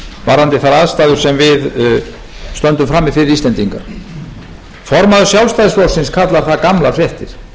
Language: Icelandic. varðandi þær aðstæður sem við stöndum frammi fyrir íslendingar formaður sjálfstæðisflokksins kallar það gamlar fréttir